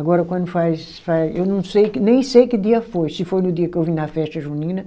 Agora quando faz faz, eu não sei que, nem sei que dia foi, se foi no dia que eu vim na festa junina,